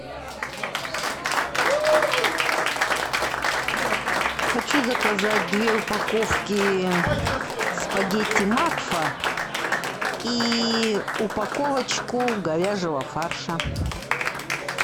хочу заказать две упаковки спагетти макфа и упаковочку говяжьего фарша